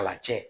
Kalan cɛ